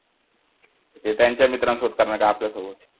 ते त्यांच्या मित्रांसोबत करणार का आपल्या सोबत